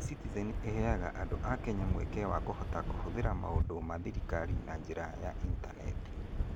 E-citizen nĩ ĩheaga andũ a Kenya mweke wa kũhota kũhũthĩra maũndũ ma thirikari na njĩra ya initaneti.